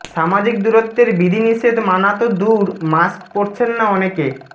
সামাজিক দূরত্বের বিধিনিষেধ মানা তো দূর মাস্ক পরছেন না অনেকে